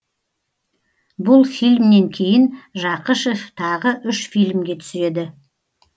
бұл фильмнен кейін жақышев тағы үш фильмге түседі